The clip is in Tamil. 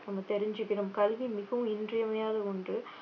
நம்ம தெரிஞ்சுக்கணும் கல்வி மிகவும் இன்றியமையாத ஒன்று